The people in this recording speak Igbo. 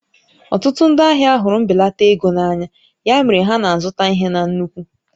Ọtụtụ ndị ahịa hụrụ mbelata ego na anya, ya mere ha na-azụta ihe na nnukwu